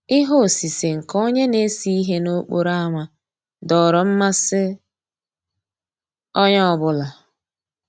Íhé òsìsé nkè ónyé ná-èsé íhé n'òkpòró ámá dòọ́rọ́ mmàsí ónyé ọ́ bụ́là.